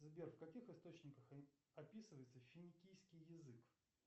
сбер в каких источниках описывается финикийский язык